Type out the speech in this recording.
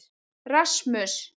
Rasmus